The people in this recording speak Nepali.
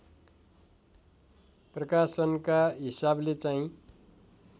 प्रकाशनका हिसाबले चाहिँ